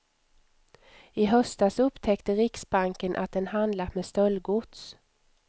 I höstas upptäckte riksbanken att den handlat med stöldgods.